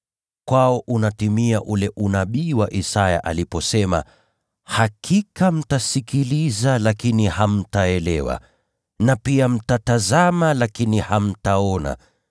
Kwao unatimia ule unabii wa Isaya aliposema: “ ‘Hakika mtasikiliza lakini hamtaelewa; na pia mtatazama lakini hamtaona.